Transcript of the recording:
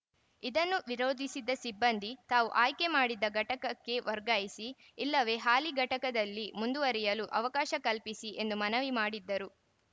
ಇದನ್ನು ವಿರೋಧಿಸಿದ್ದ ಸಿಬ್ಬಂದಿ ತಾವು ಆಯ್ಕೆ ಮಾಡಿದ್ದ ಘಟಕಕ್ಕೆ ವರ್ಗಾಯಿಸಿ ಇಲ್ಲವೇ ಹಾಲಿ ಘಟಕದಲ್ಲಿ ಮುಂದುವರಿಯಲು ಅವಕಾಶ ಕಲ್ಪಿಸಿ ಎಂದು ಮನವಿ ಮಾಡಿದ್ದರು